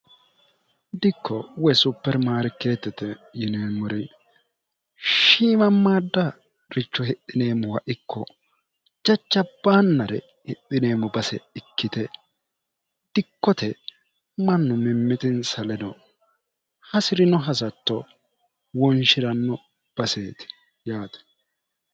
dikko woy supermaari keettete yineemmori shiimammaadda richo hidhineemmoha ikko jacabbaannare hidhineemmo base ikkite dikkote mannu mimmitinsaleno hasi'rino hasatto wonshi'ranno baseeti yaati